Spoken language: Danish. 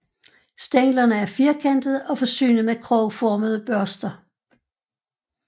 Stænglerne er firkantede og forsynet med krogformede børster